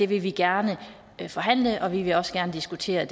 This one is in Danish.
vil vi gerne forhandle om og vi vil også gerne diskutere